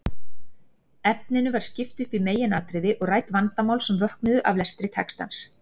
Efninu var skipt upp í meginatriði og rædd vandamál sem vöknuðu af lestri textans.